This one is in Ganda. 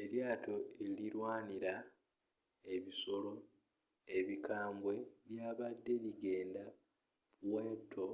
elyaato erilwanyinya ebisoro ebikambwe lyabadde ligenda puerto